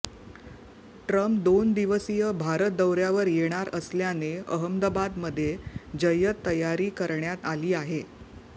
Trump दोन दिवसीय भारत दौऱ्यावर येणार असल्याने अहमदाबादमध्ये जय्यत तयारी करण्यात आली आहे